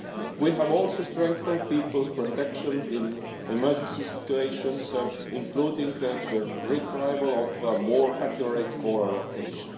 We have also strengthened people's protection in emergency situations, including through the retrieval of more accurate caller location.